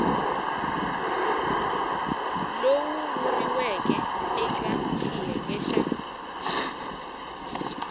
lowu vuriweke eke xiyenge xa